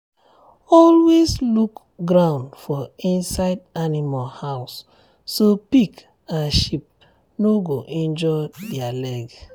always look ground for inside animal house so pig and sheep no go injure their leg.